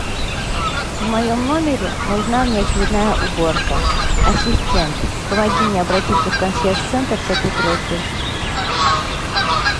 в моем номере нужна внеочередная уборка ассистент помоги мне обратиться в консьерж центр с этой просьбой